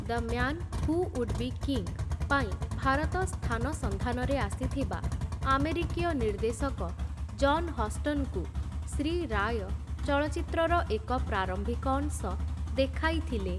The man who would be king' ପାଇଁ ଭାରତ ସ୍ଥାନ ସନ୍ଧାନରେ ଆସିଥିବା ଆମେରିକୀୟ ନିର୍ଦ୍ଦେଶକ ଜନ୍ ହଷ୍ଟନ୍‌ଙ୍କୁ ଶ୍ରୀ ରାୟ ଚଳଚ୍ଚିତ୍ରର ଏକ ପ୍ରାରମ୍ଭିକ ଅଂଶ ଦେଖାଇଥିଲେ ।